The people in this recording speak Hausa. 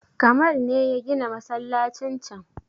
Kamal ne ya gina masallacin can